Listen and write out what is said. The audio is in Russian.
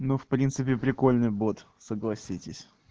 но в принципе прикольный бот согласитесь